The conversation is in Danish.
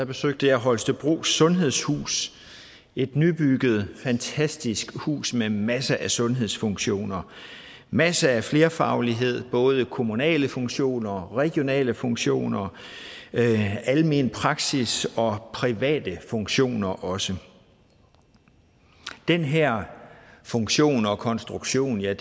besøgte holstebros sundhedshus et nybygget fantastisk hus med masser af sundhedsfunktioner masser af flerfaglighed både kommunale funktioner regionale funktioner almenpraksis og private funktioner også den her funktion og konstruktion er